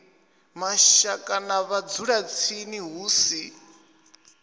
mashaka na vhadzulatsini hu si